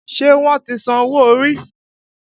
Ṣé wọ́n ti san owó orí?